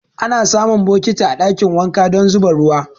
Ana samun bokiti a ɗakin wanka don zuba ruwa.